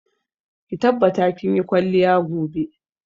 Ki tabbata kin yi kwalliya gobe!